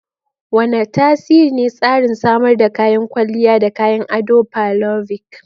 Wane tasiri ne tsarin samar da kayan kwalliya da kayan adon parlovic?